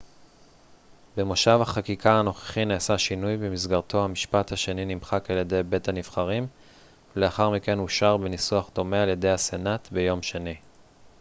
במושב החקיקה הנוכחי נעשה שינוי במסגרתו המשפט השני נמחק על ידי בית הנבחרים ולאחר מכן אושר בניסוח דומה על ידי הסנאט ביום שני